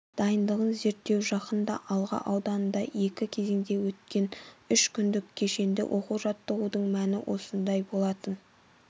дайындығын зерттеу жақында алға ауданында екі кезеңде өткен үш күндік кешенді оқу-жаттығудың мәні осындай болатын